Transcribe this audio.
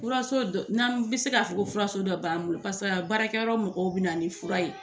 Furaso dɔ ,n'an bɛ se k'a fɔ ko furaso dɔ b'an bolo, paseke yan baarakɛyɔrɔ mɔgɔw bɛ na ni fura ye.